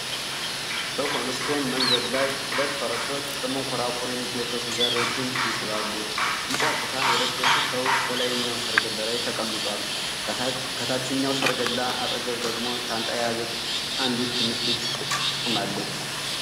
በኮብልስቶን መንገድ ላይ ሁለት ፈረሶች በመንኮራኩር የሚጎተቱ ጋሪዎችን ይስባሉ። ቢጫ ኩታ የለበሰ ሰው በላይኛው ሠረገላ ላይ ተቀምጧል፤ ከታችኛው ሠረገላ አጠገብ ደግሞ ሻንጣ የያዘች አንዲት ትንሽ ልጅ ቆማለች።